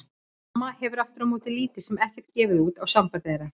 Mamma hefur aftur á móti lítið sem ekkert gefið út á samband þeirra.